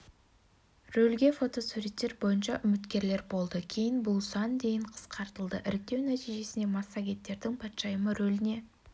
рөлге фотосуреттер бойынша үміткерлер болды кейін бұл сан дейін қысқартылды іріктеу нәтижесінде массагеттердің патшайымы рөліне